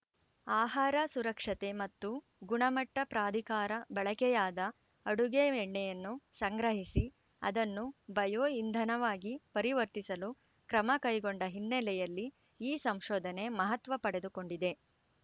ಆಹಾರ ಸುರಕ್ಷತೆ ಮತ್ತು ಗುಣಮಟ್ಟಪ್ರಾಧಿಕಾರ ಬಳಕೆಯಾದ ಅಡುಗೆ ಎಣ್ಣೆಯನ್ನು ಸಂಗ್ರಹಿಸಿ ಅದನ್ನು ಬಯೋ ಇಂಧವನಾಗಿ ಪರಿವರ್ತಿಸಲು ಕ್ರಮ ಕೈಗೊಂಡ ಹಿನ್ನೆಲೆಯಲ್ಲಿ ಈ ಸಂಶೋಧನೆ ಮಹತ್ವ ಪಡೆದುಕೊಂಡಿದೆ